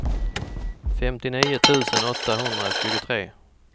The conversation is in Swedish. femtionio tusen åttahundratjugotre